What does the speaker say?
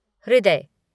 हृदय